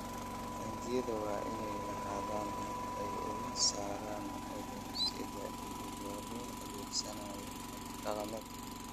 Taangiyada waa inay lahaadaan habab ay uga saaraan cudur-sidaha iyadoo la adeegsanayo habab dhaqameed.